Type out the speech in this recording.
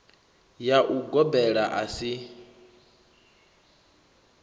ya u gobela a si